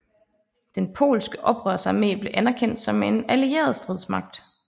Den polske oprørsarmé blev anerkendt som en allieret stridsmagt